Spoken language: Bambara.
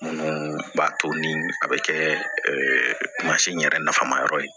Minnu b'a to ni a bɛ kɛ in yɛrɛ nafama yɔrɔ ye